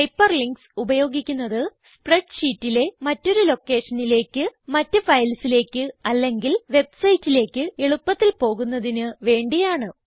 hyperlinks ഉപയോഗിക്കുന്നത് spread ഷീറ്റിലെ മറ്റൊരു ലൊക്കേഷനിലേക്ക് മറ്റ് ഫയൽസിലേക്ക് അല്ലെങ്കിൽ വെബ്സൈറ്റിലേക്ക് എളുപ്പത്തിൽ പോകുന്നതിന് വേണ്ടിയാണ്